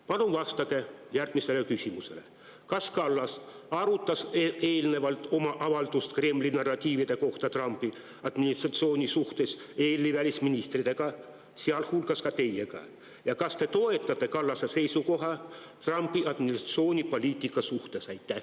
Palun vastake järgmisele küsimusele: kas Kallas arutas eelnevalt oma avaldust Trumpi administratsiooni Kremli narratiivide kohta EL‑i välisministritega, sealhulgas teiega, ja kas te toetate Kallase seisukohta Trumpi administratsiooni poliitika suhtes?